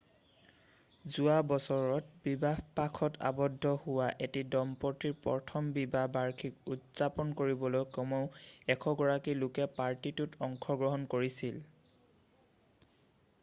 যোৱা বছৰত বিবাহপাশত আবদ্ধ হোৱা এটি দম্পতীৰ প্ৰথম বিবাহ বাৰ্ষিকী উদাপন কৰিবলৈ কমেও 100 গৰাকী লোকে পাৰ্টিটোত অংশগ্ৰহণ কৰিছিল